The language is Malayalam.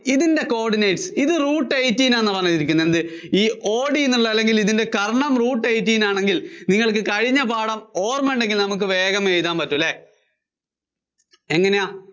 ഇതിന്‍റെ coordinates, ഇത് root eighteen എന്നാണ് എഴുതിയിരിക്കുന്നത്, എന്ത് ഈ OD എന്നുള്ളത്, ഇതിന്‍റെ കര്‍ണ്ണം root eighteen ആണെങ്കില്‍, നിങ്ങള്‍ക്ക് കഴിഞ്ഞ പാഠം ഓര്‍മയുണ്ടെങ്കില്‍ നമുക്ക് വേഗം എഴുതാന്‍ പറ്റും അല്ലേ? എങ്ങിനെയാ?